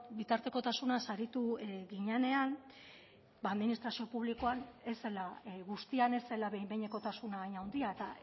bitartekotasunaz aritu ginenean administrazio publiko guztian ez zela behin behinekotasuna hain handia eta